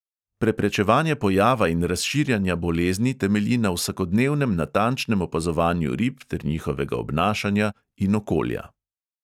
Preprečevanje pojava in razširjanja bolezni temelji na vsakodnevnem natančnem opazovanju rib ter njihovega obnašanja in okolja.